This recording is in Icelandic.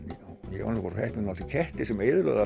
ég var nú svo heppinn að hún átti ketti sem eyðilögðu